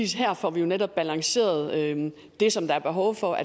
her får vi jo netop balanceret det som der er behov for